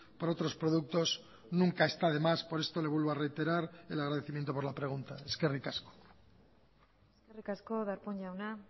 por otros productos nunca está de más por esto le vuelvo a reiterar el agradecimiento por la pregunta eskerrik asko eskerrik asko darpón jauna